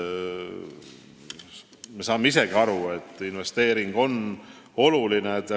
Me saame isegi aru, et investeering on oluline.